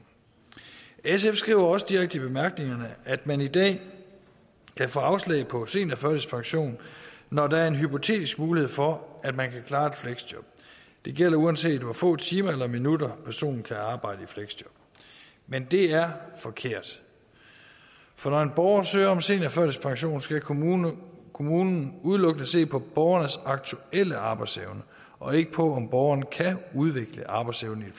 sf skriver også direkte i bemærkningerne at man i dag kan få afslag på seniorførtidspension når der er en hypotetisk mulighed for at man kan klare et fleksjob det gælder uanset hvor få timer eller minutter personen kan arbejde i fleksjob men det er forkert for når en borger søger om seniorførtidspension skal kommunen kommunen udelukkende se på borgerens aktuelle arbejdsevne og ikke på om borgerne kan udvikle arbejdsevne i